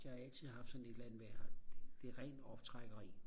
der har jeg altid haft sådan et eller andet med at det er rent optrækkeri